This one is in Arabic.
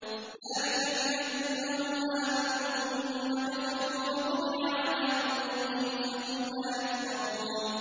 ذَٰلِكَ بِأَنَّهُمْ آمَنُوا ثُمَّ كَفَرُوا فَطُبِعَ عَلَىٰ قُلُوبِهِمْ فَهُمْ لَا يَفْقَهُونَ